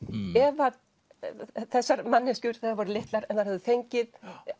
ef að þessar manneskjur þegar þær voru litlar hefðu fengið